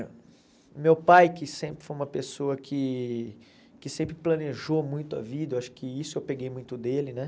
Meu pai, que sempre foi uma pessoa que que sempre planejou muito a vida, acho que isso eu peguei muito dele, né?